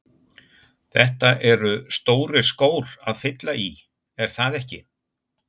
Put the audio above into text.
Þetta eru stórir skór að fylla í, er það ekki?